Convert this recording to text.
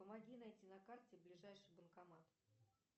помоги найти на карте ближайший банкомат